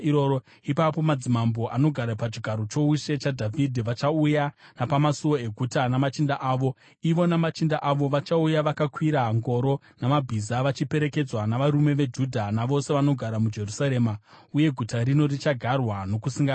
ipapo madzimambo anogara pachigaro choushe chaDhavhidhi vachauya napamasuo eguta namachinda avo. Ivo namachinda avo vachauya vakakwira ngoro namabhiza, vachiperekedzwa navarume veJudha navose vanogara muJerusarema, uye guta rino richagarwa nokusingaperi.